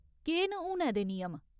केह् न हुनै दे नियम ?